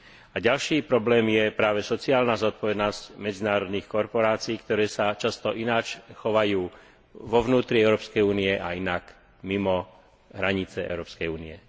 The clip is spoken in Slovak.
A ďalší problém je práve sociálna zodpovednosť medzinárodných korporácií, ktoré sa často ináč chovajú vo vnútri Európskej únie a inak mimo hranice Európskej únie.